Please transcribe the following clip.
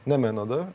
Nə mənada?